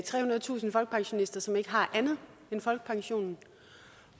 trehundredetusind folkepensionister som ikke har andet end folkepensionen